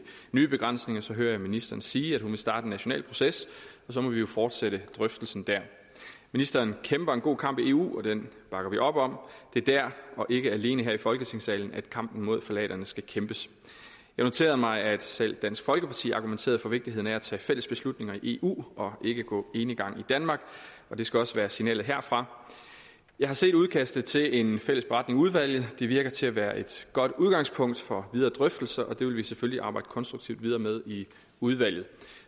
nye begrænsninger så hører jeg ministeren sige at hun vil starte en national proces og så må vi jo fortsætte drøftelsen dér ministeren kæmper en god kamp i eu og den bakker vi op om det er dér og ikke alene her i folketingssalen at kampen mod ftalaterne skal kæmpes jeg noterede mig at selv dansk folkeparti argumenterede for vigtigheden af at tage fælles beslutninger i eu og ikke gå enegang i danmark og det skal også være signalet herfra jeg har set udkastet til en fælles beretning i udvalget det virker til at være et godt udgangspunkt for videre drøftelser og det vil vi selvfølgelig arbejde konstruktivt videre med i udvalget